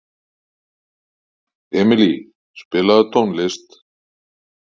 Emilý, spilaðu tónlist.